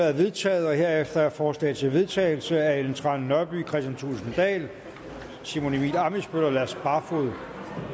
er vedtaget herefter er forslag til vedtagelse af ellen trane nørby kristian thulesen dahl simon emil ammitzbøll og lars barfoed